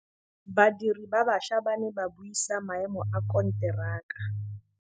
Badiri ba baša ba ne ba buisa maêmô a konteraka.